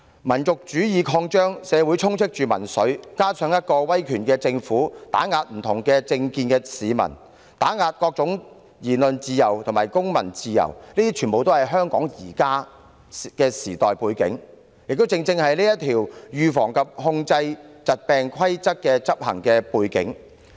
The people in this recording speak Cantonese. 民族主義擴張，社會充斥民粹，加上威權政府打壓不同政見市民，打壓各種言論自由及公民自由，這些全是香港現時的時代背景，亦正是相關規例的執行背景。